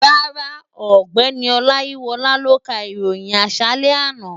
Rárá, ọ̀gbẹ́ni Ọláyíwọlá ló ka ìròyìn àṣálẹ́ àná